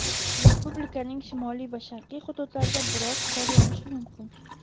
Respublikaning shimoliy va sharqiy hududlarida biroz qor yog‘ishi mumkin.